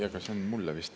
See küsimus on mulle vist.